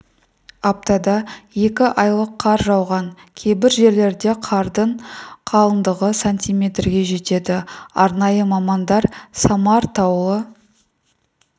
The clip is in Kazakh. аптада екі айлық қар жауған кейбір жерлерде қардың қалыңдығы сантиметрге жетеді арнайы мамандар самар таулы